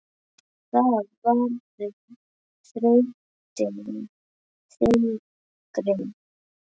Það verður þrautin þyngri.